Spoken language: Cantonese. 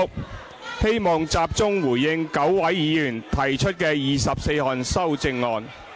我希望集中回應9位議員提出的24項修正案。